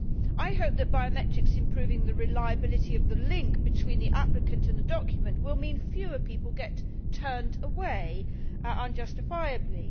I hope that biometrics improving the reliability of the link between the applicant and the document will mean that fewer people get turned away unjustifiably.